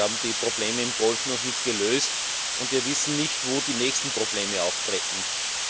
Wir haben die Probleme im Golf noch nicht gelöst, und wir wissen nicht, wo die nächsten Probleme auftreten werden.